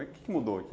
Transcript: Mas o quê que mudou?